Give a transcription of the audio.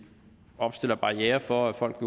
opstiller barrierer for at folk